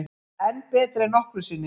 Enn betri en nokkru sinni